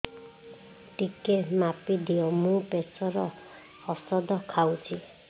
ଟିକେ ମାପିଦିଅ ମୁଁ ପ୍ରେସର ଔଷଧ ଖାଉଚି